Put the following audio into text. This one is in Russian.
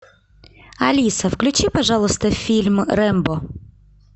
алиса включи пожалуйста фильм рэмбо